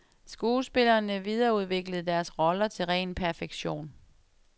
Skuespillerne videreudviklede deres roller til ren perfektion.